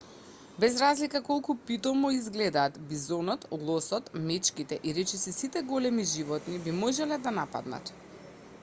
без разлика колку питомо изгледаат бизонот лосот мечките и речиси сите големи животни би можеле да нападнат